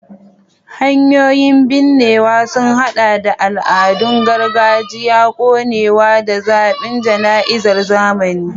Hanyoyin binnewa sun haɗa da al'adun gargajiya, konewa, da zaɓin jana'izar zamani.